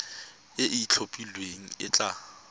e e itlhophileng e tla